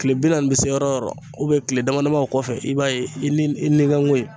Kile bi nanni ni bi se yɔrɔ o yɔrɔ kile dama dama o kɔfɛ i b'a ye i ni i nikanko in